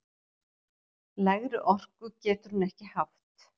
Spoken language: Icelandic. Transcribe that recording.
Lægri orku getur hún ekki haft!